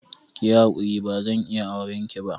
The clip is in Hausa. Kiyi hakuri bazan iya aurenki ba.